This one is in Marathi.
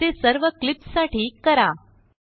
असे सर्वक्लिप्ससाठी करा